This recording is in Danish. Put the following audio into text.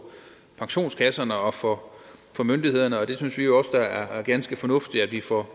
pensionskasserne og for myndighederne og det synes vi også er ganske fornuftigt at vi får